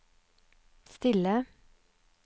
stille